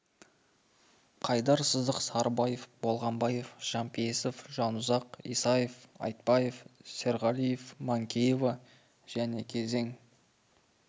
қайдар сыздық сарыбаев болғанбаев жанпейісов жанұзақ исаев айтбаев серғалиев манкеева және -кезең